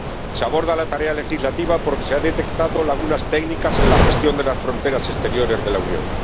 Se aborda la tarea legislativa porque se han detectado lagunas técnicas en la gestión de las fronteras exteriores de la Unión.